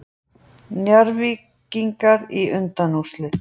Njarðvíkingar í undanúrslit